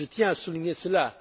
Je tiens à souligner cela.